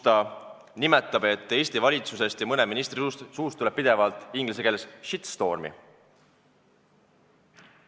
Ta on öelnud, et Eesti valitsusest ja mõne ministri suust tuleb pidevalt shitstorm'i.